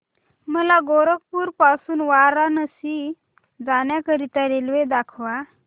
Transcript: मला गोरखपुर पासून वाराणसी जाण्या करीता रेल्वे दाखवा